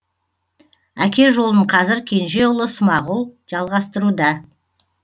әке жолын қазір кенже ұлы смағұл жалғастыруда